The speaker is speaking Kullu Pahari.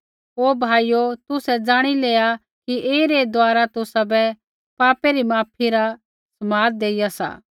हे भाइयो तुसै ज़ाणि लेआ कि एही रै द्वारा तुसाबै पापै री माफी रा समाद देइया सा